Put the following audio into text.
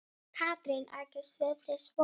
Katrín tekur undir þessi orð.